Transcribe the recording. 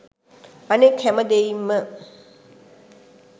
අනෙක් හැම දෙයින්ම